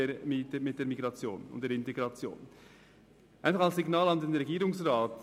Nun noch ein Signal an den Regierungsrat: